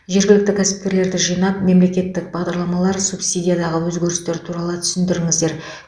жергілікті кәсіпкерлерді жинап мемлекеттік бағдарламалар субсидиядағы өзгерістер туралы түсіндіріңіздер